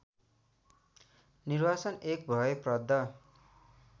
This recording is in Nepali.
निर्वासन एक भयप्रद